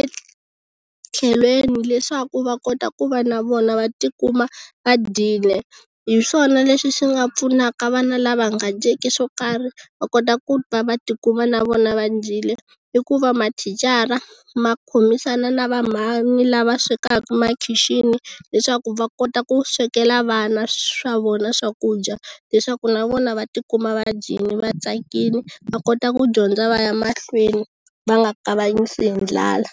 etlhelweni leswaku va kota ku va na vona va tikuma va dyile hi swona leswi swi nga pfunaka vana lava nga dyeki swo karhi va kota ku va tikuma na vona va dyile i ku va mathicara makhomisana na vamhana lava swekaka emakhixini leswaku va kota ku swekela vana swa vona swakudya leswaku na vona va tikuma va dyini va tsakile va kota ku dyondza va ya mahlweni va nga kavanyisi hi ndlala.